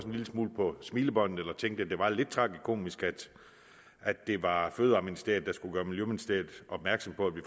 en lille smule på smilebåndet eller tænkte at det var lidt tragikomisk at det var fødevareministeriet der skulle gøre miljøministeriet opmærksom på at vi